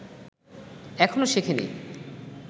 এখনও শেখেনি